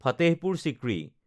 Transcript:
Fatehpur Sikri